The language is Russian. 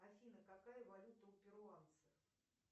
афина какая валюта у перуанцев